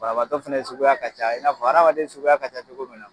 Banabatɔ suguya ka ca i n'a fɔ adamaden suguya ka ca cogo min na.